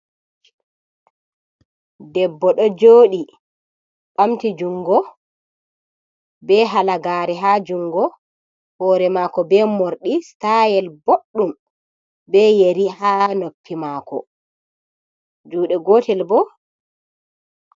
Debbo ɗo joɗi ɓamti jungo be hala gare ha jungo hore mako be mordi stayel boɗɗum be yeri ha noppi mako juɗe gotel bo.